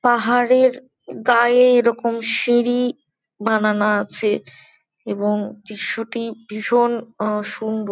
পাহাড়ের গায়ে এইরকম সিঁড়ি বানানো আছে এবং দৃশ্যটি ভীষণ আ-সুন্দর।